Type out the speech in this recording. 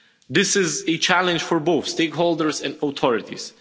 This is a challenge for both stakeholders and authorities.